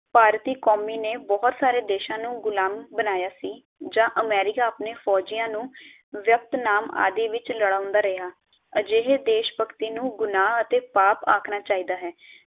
ਭਾਰਤੀ ਕੌਮੀ ਨੇ ਬਹੁਤ ਸਾਰੇ ਦੇਸ਼ਾਂ ਨੂੰ ਗੁਲਾਮ ਬਨਾਯਾ ਸੀ ਜਾਂ ਅਮੇਰੀਕਾ ਆਪਣੇ ਫੌਜੀਆਂ ਨੂੰ ਵੀਅਤਨਾਮ ਆਦਿ ਵਿਚ ਲਡਾਉਂਦਾ ਰਿਹਾ ਅਜਿਹੀ ਦੇਸ਼ਭਕਤੀ ਨੂੰ ਗੁਨਾਹ ਅਤੇ ਪਾਪ ਆਕਣਾ ਚਾਹੀਦਾ ਹੈ